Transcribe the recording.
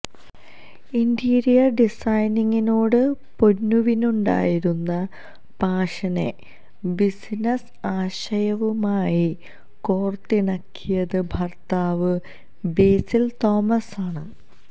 interior ഡിസൈനിംഗിനോട് പൊന്നുവിനുണ്ടായിരുന്ന പാഷനെ ബിസിനസ് ആശയവുമായി കോര്ത്തിണക്കിയത് ഭര്ത്താവ് ബേസില് തോമസ് ആണ്